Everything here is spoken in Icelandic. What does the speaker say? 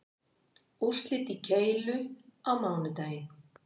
Úrslit í keilu á mánudaginn